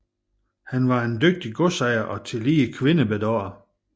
Han var en dygtig godsejer og tillige kvindebedårer